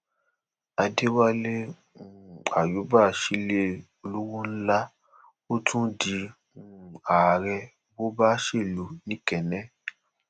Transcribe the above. adéwálé um àyùbá sílẹ olówó ńlá ó tún di um ààrẹ bobaselu nokenne